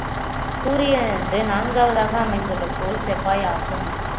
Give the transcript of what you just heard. சூரியனிலிருந்து நான்காவதாக அமைந்துள்ள கோள் செவ்வாய் ஆகும்